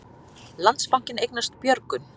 Landsbankinn eignast Björgun